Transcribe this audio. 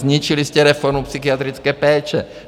Zničili jste reformu psychiatrické péče.